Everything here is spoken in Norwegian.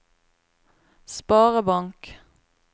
sparebank